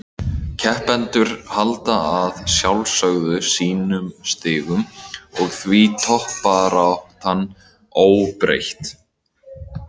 Keppendur halda að sjálfsögðu sínum stigum og því toppbaráttan óbreytt.